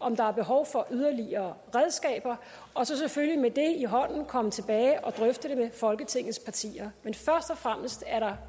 om der er behov for yderligere redskaber og så selvfølgelig med det i hånden komme tilbage og drøfte det med folketingets partier men først og fremmest er